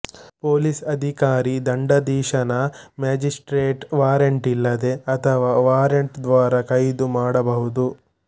police ಅಧಿಕಾರಿ ದಂಡಾಧೀಶನ magistrate warrant ಇಲ್ಲದೆ ಅಥವಾ ವಾರಂಟ್ ದ್ವಾರ ಕೈದು ಮಾಡಬಹುದು